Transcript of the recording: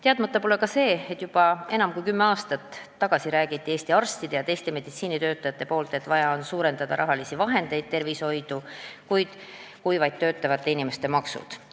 Teadmata pole ka see, et juba enam kui kümme aastat tagasi rääkisid Eesti arstid ja teised meditsiinitöötajad, et tervishoidu on vaja rohkem rahalisi vahendeid kui vaid töötavate inimeste maksud.